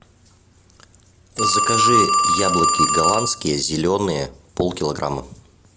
закажи яблоки голландские зеленые пол килограмма